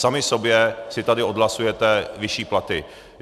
Sami sobě si tady odhlasujete vyšší platy.